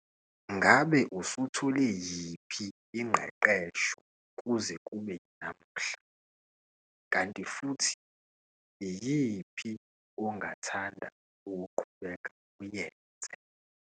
Ngabe usuthole yiphi ingqeqesho kuze kube yinamuhla kanti futhi iyiphi ongathanda ukuqhubeka uyenze?